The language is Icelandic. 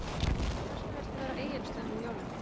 Karen: En hvers vegna viltu vera á Egilsstöðum um jólin?